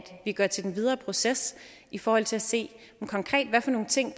vi går til den videre proces i forhold til at se hvad for nogle ting